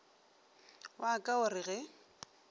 wa ka o re ge